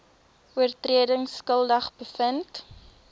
oortredings skuldig bevind